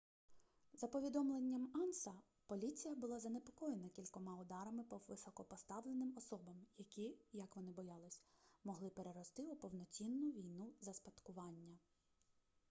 за повідомленням анса поліція була занепокоєна кількома ударами по високопоставленим особам які як вони боялись могли перерости у повноцінну війну за спадкування